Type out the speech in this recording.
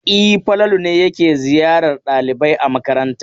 E, Falalu ne yake ziyarar ɗalibai a makaranta.